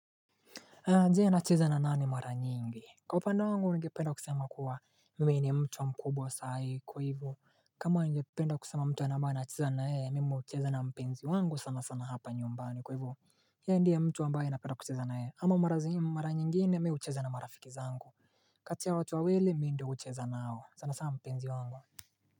Je nacheza na nani mara nyingi Kwa upande wangu ningependa kusema kuwa mimi ni mtu wa mkubwa saa hii kwa hivyo kama ningependa kusema mtu ambaye nacheza naye mimi hucheza na mpenzi wangu sana sana hapa nyumbani kwa hivyo yeye ndiye mtu ambaye napenda kucheza naye ama mara zim mara nyingine mimi hucheza na marafiki zangu kati ya watu wawili mimi ndiyo hucheza nao sana sana mpenzi wangu.